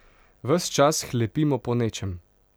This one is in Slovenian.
Ves čas hlepimo po nečem.